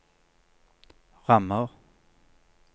rammer